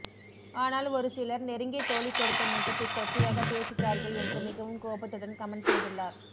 ஆனால் ஒரு சிலர் நெருங்கிய தோழி கொடுத்த முத்தத்தை கொச்சையாக பேசுகிறார்கள் என்று மிகவும் கோபத்துடன் கமெண்ட் செய்துள்ளார்